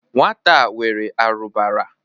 Nwata a nwere arụbara.